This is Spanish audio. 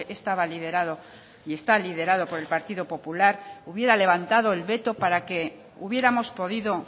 estaba liderado y está liderado por el partido popular hubiera levantado el veto para que hubiéramos podido